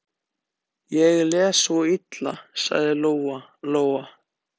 Ég les svo illa, sagði Lóa-Lóa.